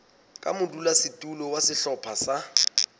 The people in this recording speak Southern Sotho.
ka modulasetulo wa sehlopha sa